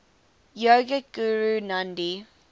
yogic guru nandhi